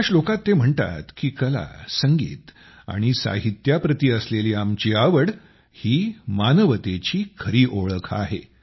एका श्लोकात ते म्हणतात की कला संगीत आणि साहित्याप्रति असलेली आमची आवड ही मानवतेची खरी ओळख आहे